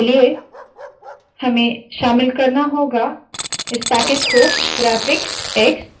इसके लिए हमें शामिल करना होगा इस पैकेज को graphicx